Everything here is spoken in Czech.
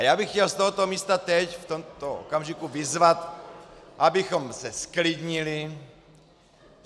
A já bych chtěl z tohoto místa teď, v tomto okamžiku, vyzvat, abychom se zklidnili.